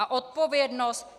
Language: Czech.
A odpovědnost?